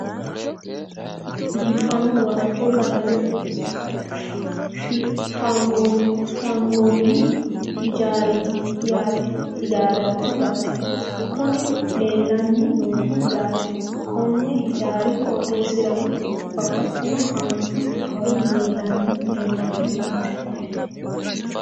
biifanno waajjo qalame fgannoonni hijaaraati yaate kuni leelanni noohu yaate konni hijaari qooxeessirano babbaxino haanju awawi leelanno yaate koye .